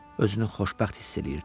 Özünü xoşbəxt hiss eləyirdi.